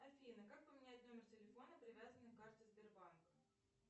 афина как поменять номер телефона привязанный к карте сбербанка